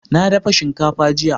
na dafa shinkafa jiya